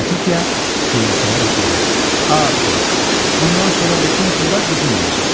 Latitiya gülümsəyərək dedi: “Abbi, bundan sonra bütün pullar bizim olacaq.